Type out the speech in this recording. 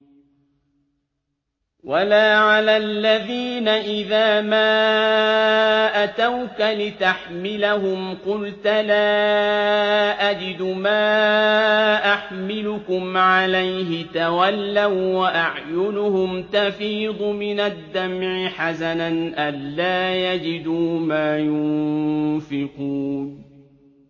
وَلَا عَلَى الَّذِينَ إِذَا مَا أَتَوْكَ لِتَحْمِلَهُمْ قُلْتَ لَا أَجِدُ مَا أَحْمِلُكُمْ عَلَيْهِ تَوَلَّوا وَّأَعْيُنُهُمْ تَفِيضُ مِنَ الدَّمْعِ حَزَنًا أَلَّا يَجِدُوا مَا يُنفِقُونَ